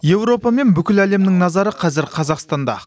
еуропа мен бүкіл әлемнің назары қазір қазақстанда